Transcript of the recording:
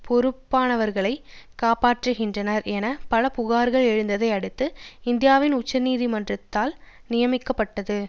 பொறுப்பானவர்களை காப்பாற்றுகின்றன என பல புகார்கள் எழுந்ததை அடுத்து இந்தியாவின் உச்ச நீதிமன்றத்தால் நியமிக்கப்பட்டது